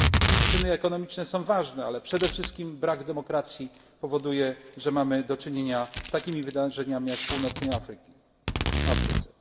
Przyczyny ekonomiczne są ważne, ale przede wszystkim brak demokracji powoduje, że mamy do czynienia z takimi wydarzeniami, jak w północnej Afryce.